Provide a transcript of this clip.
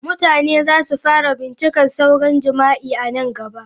Mutane za su fara bincika sauran jima'i a nan gaba.